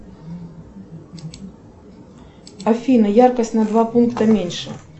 афина яркость на два пункта меньше